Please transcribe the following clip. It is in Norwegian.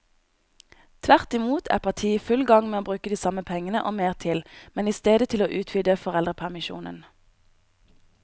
Tvert imot er partiet i full gang med å bruke de samme pengene og mer til, men i stedet til å utvide foreldrepermisjonen.